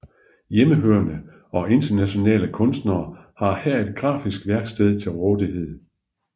Hjemmehørende og internationale kunstnere har her et grafisk værksted til rådighed